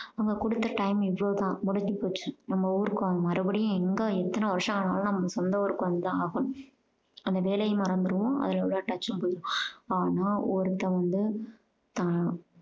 அவங்க கொடுத்த time இவ்வளோ தான் முடிஞ்சு போச்சு நம்ம ஊருக்கு அவங்க மறுபடியும் எங்க எத்தனை வருஷம் ஆனாலும் நம்ம சொந்த ஊருக்கு வந்து தான் ஆகணும். அந்த வேலைய மறந்துருவோம் அதுல உள்ள touch உம் போயிடும். ஆனா ஒருத்தன் வந்து தான்